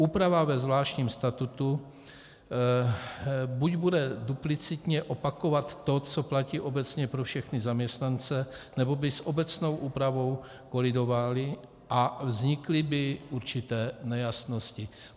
Úprava ve zvláštním statutu buď bude duplicitně opakovat to, co platí obecně pro všechny zaměstnance, nebo by s obecnou úpravou kolidovala a vznikly by určité nejasnosti.